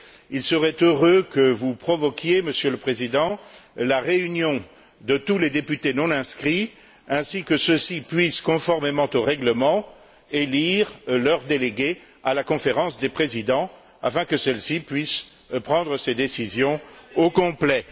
Il serait heureux que vous provoquiez, Monsieur le Président, la réunion de tous les députés non inscrits, pour que ceux ci puissent, conformément au règlement, élire leur délégué à la Conférence des présidents, afin que celle ci puisse prendre ses décisions au complet.